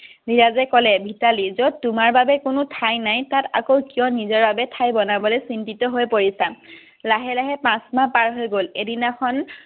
ধীৰজে ক'লে মিতালী যত তোমাৰ বাবে কোনো ঠাই নাই তাত আকৌ কিয় নিজৰ বাবে ঠাই বনাব চিন্তিত হৈ পৰিছা লাহে লাহে পাচ মাহ পাৰ হৈ গল এদিনাখন